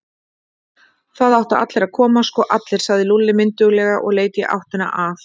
Það áttu allir að koma, sko allir, sagði Lúlli mynduglega og leit í áttina að